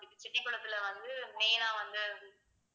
செட்டிகுளத்துல வந்து main ஆ வந்து